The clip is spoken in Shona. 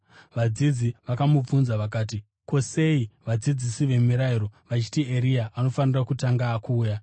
Vadzidzi vakamubvunza vakati, “Ko, sei vadzidzisi vemirayiro vachiti Eria anofanira kutanga kuuya?”